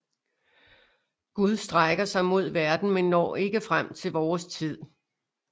Gud strækker sig mod verden men når ikke frem til vores tid